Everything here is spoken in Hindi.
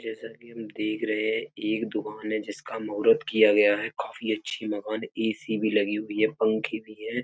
जैसा कि हम देख रहे हैं एक दुकान है जिसका महूरत किया गया है। काफी अच्छी दुकान ए.सी. भी लगी हुई है। पंखे भी हैं।